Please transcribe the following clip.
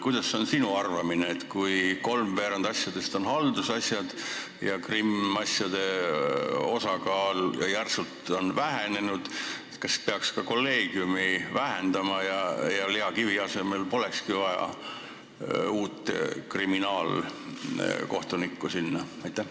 Kuidas on sinu arvamus, kui kolmveerand asjadest on haldusasjad ja kriminaalasjade osakaal on järsult vähenenud, kas siis peaks ka kolleegiumi suurust vähendama ja Lea Kivi asemel polekski vaja sinna uut kriminaalkohtunikku?